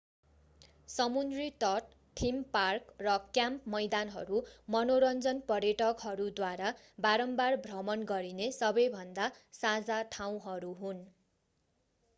समुन्द्री तट theme park र क्याम्प मैदानहरू मनोरञ्जन पर्यटकहरूद्वारा बारम्बार भ्रमण गरिने सबैभन्दा साझा ठाउँहरू हुन्